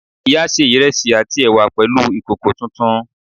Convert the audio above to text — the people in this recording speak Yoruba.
Ìyá sé ìrẹsì àti ẹ̀wà pẹ̀lú ìkòkò tuntun